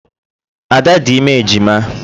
Ada dị ime ejima.